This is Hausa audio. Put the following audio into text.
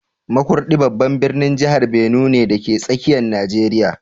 Makurdi babban birnin jihar Benue ne, dake tsakiyar Najeriya